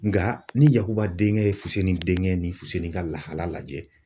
Nka ni YAKUBA denkɛ ye fuseni denkɛ ni fusenni ka lahala lajɛ.